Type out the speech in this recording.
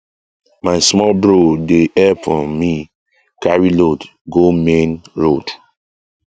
my small bro dey help um me carry load go main um road